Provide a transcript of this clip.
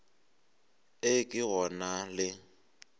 e ke go na le